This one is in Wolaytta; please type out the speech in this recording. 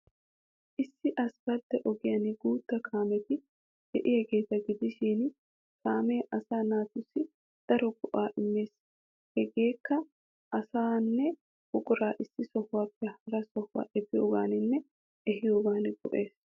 Issi asppaltte ogiyaan guutta kaameti de'iyaageeta gidishin, kaamee asaa naatussi daro go''aa immees. Hegeekka, asaanne buqurata issi sohuwaappe hara sohuwa efiyoogaaninne ehiyoogan go'ees.